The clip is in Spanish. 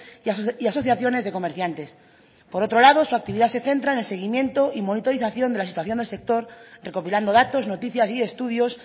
y asociaciones de comerciantes por otro lado su actividad se centra en el seguimiento y monitorización de la situación del sector recopilando datos noticias y estudios